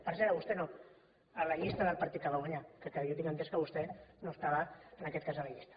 per cert a vostè no a la llista del partit que va guanyar que jo tinc entès que vostè no estava en aquest cas a la llista